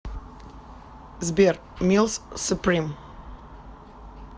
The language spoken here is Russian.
сбер милс суприм